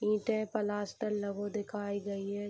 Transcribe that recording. ईटें प्लास्टर लग हो दिखाई गई है।